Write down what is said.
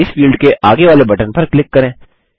अब इस फील्ड के आगे वाले बटन पर क्लिक करें